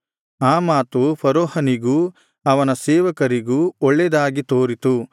ಆ ಮಾತು ಫರೋಹನಿಗೂ ಅವನ ಸೇವಕರಿಗೂ ಒಳ್ಳೇದಾಗಿ ತೋರಿತು